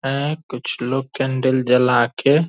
ऐं किछ लोग केंडिल जला के --